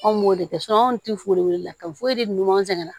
Anw b'o de kɛ an ti foli la ka foyi de ɲuman sɛŋɛn na